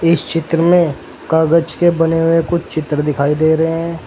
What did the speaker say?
इस चित्र में कागज के बने हुए कुछ चित्र दिखाई दे रहे हैं।